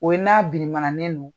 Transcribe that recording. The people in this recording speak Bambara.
O ye n'a birinmananen non.